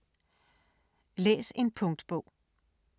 Læs en punktbog